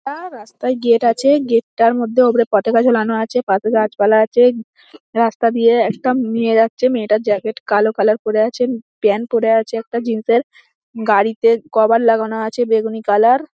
আ- আ- র রাস্তায় গেট আছে গেট টার মধ্যে ওপরে পতাকা ঝোলানো আছে পাশে গাছপালা আছে। রাস্তা দিয়ে একটা মেয়ে যাচ্ছে মেয়েটার জ্যাকেট কালো কালোর পরে আছে প্যান্ট পরে আছে একটা জিন্স এর গাড়িতে কভার লাগানো আছে বেগুনি কালোর ।